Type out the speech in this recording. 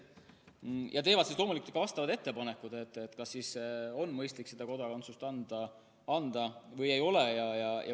Nemad teevad loomulikult ka vastavad ettepanekud, kas on mõistlik kodakondsust anda või ei ole.